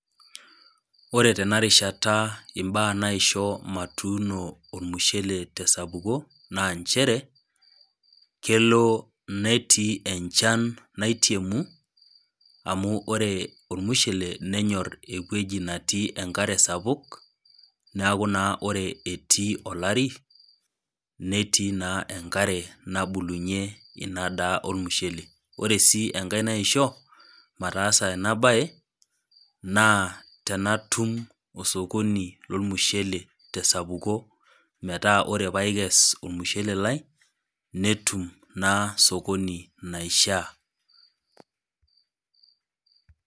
Ore tenarishata mbaa naisho matuuno ormushele tesapuko na nchere na kelo netii enchan sapuk amu ore ormushele nenyor ewueji natii enkare sapuk neaku ore etii enkare netii na enkare nabulunye inadaa ormushele ore si enkae naisho mataasa enabae na tanatum osokoni lormushele tesapuko metaa ore paikes ormushele lai netum na osokoni laishaa .